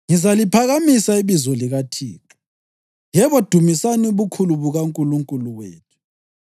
Ngizaliphakamisa ibizo likaThixo. Yebo dumisani ubukhulu bukaNkulunkulu wethu!